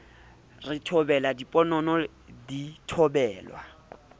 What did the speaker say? re thobela diponono di thobelwa